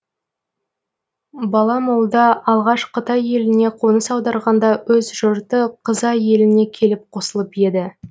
бала молда алғаш қытай еліне қоныс аударғанда өз жұрты қызай еліне келіп қосылып еді